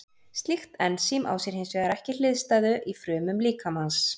Slíkt ensím á sér hins vegar ekki hliðstæðu í frumum líkamans.